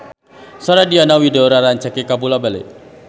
Sora Diana Widoera rancage kabula-bale